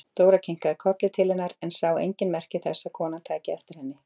Dóra kinkaði kolli til hennar en sá engin merki þess að konan tæki eftir henni.